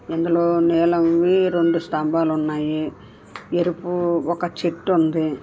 ఇందులో నీలంవి రెండు స్తంభాలు ఉన్నాయి ఎరుపు ఒక చెట్టు ఉంది.